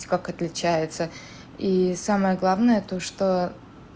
как отличается и самое главное то что